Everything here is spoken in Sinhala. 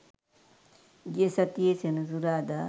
ගිය සතියේ සෙනසුරාදා